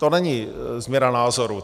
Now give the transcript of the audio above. To není změna názoru.